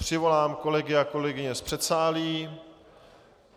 Přivolám kolegy a kolegyně z předsálí.